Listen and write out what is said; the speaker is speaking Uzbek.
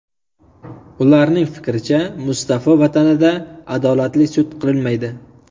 Ularning fikricha, Mustafo vatanida adolatli sud qilinmaydi.